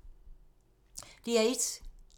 DR1